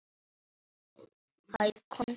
Hæ, komdu inn.